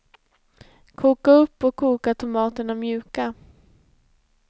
Koka upp och koka tomaterna mjuka.